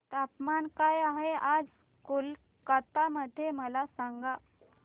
तापमान काय आहे आज कोलकाता मध्ये मला सांगा